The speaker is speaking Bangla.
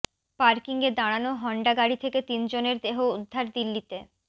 পার্কিংয়ে দাঁড়ানো হন্ডা গাড়ি থেকে তিনজনের দেহ উদ্ধার দিল্লিতে